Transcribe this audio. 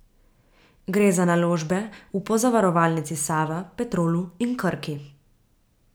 Gre za naložbe v Pozavarovalnici Sava, Petrolu in Krki.